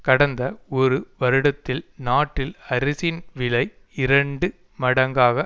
கடந்த ஒரு வருடத்தில் நாட்டில் அரிசியின் விலை இரண்டு மடங்காக